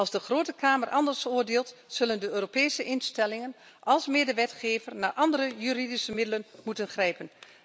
Als de Grote Kamer anders oordeelt, zullen de Europese instellingen als medewetgever naar andere juridische middelen moeten grijpen.